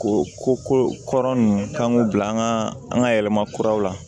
Ko ko ko kɔrɔ nunnu k'an k'u bila an ga an ga yɛlɛmakuraw la